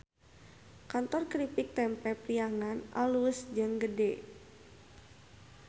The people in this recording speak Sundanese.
Kantor Kripik Tempe Priangan alus jeung gede